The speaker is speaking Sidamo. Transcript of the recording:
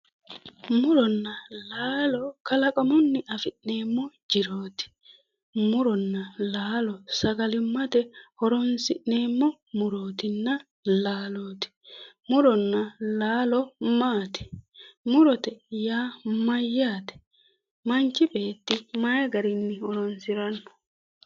Muronna laalo kalaqamunni afi'neemmo jiroti ,muronna laalo sagalimate horonsi'neemmo murotinna laaloti, muronna laalo maati, murote yaa mayaate, manchi beetti mayi garinni horonsirano